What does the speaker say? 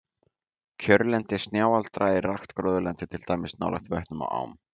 Kjörlendi snjáldra er rakt gróðurlendi, til dæmis nálægt vötnum og ám.